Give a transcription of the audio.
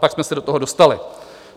Pak jsme se do toho dostali.